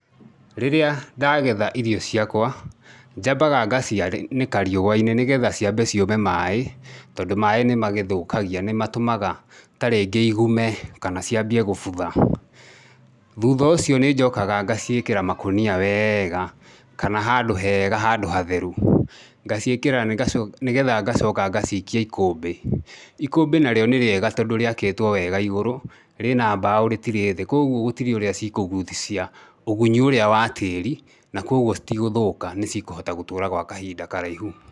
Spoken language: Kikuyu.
Rĩrĩa ndagetha irio ciakwa, njambaga ngacianĩka riũa-inĩ nĩgetha ciambe ciũme maĩ, tondũ maĩ nĩ magĩthũkagia, nĩ matũmaga tarĩngĩ igume kana ciambie gũbutha. Thutha ũcio nĩ njokaga ngaciĩkĩra makunia wega, kana handũ hega handũ hatheru. Ngaciĩkĩra nĩgetha ngacoka ngacikia ikũmbĩ. Ikũmbĩ narĩo nĩ rĩega tondũ rĩakĩtwo wega igũrũ, rĩna mbaũ rĩtirĩ thĩ. Kũguo gũtirĩ ũrĩa cikũgucia ũgunyi ũrĩa wa tĩri, na koguo citigũthũka nĩ cikũhota gũtũũra gwa kahinda karaihu.